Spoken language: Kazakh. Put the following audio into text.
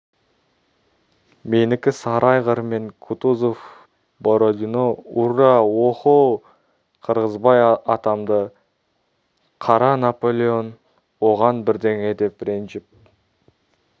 менікі сары айғыр мен кутузов бородино урра оһо қырғызбай атамды қара наполеон оған бірдеңе деп ренжіп